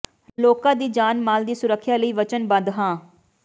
ਲੋਕਾਂ ਦੀ ਜਾਨ ਮਾਲ ਦੀ ਸੁਰੱਖਿਆ ਲਈ ਵਚਨਬੱਧ ਹਾਂ